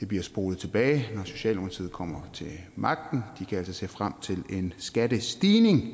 det bliver spolet tilbage når socialdemokratiet kommer til magten de kan altså se frem til en skattestigning i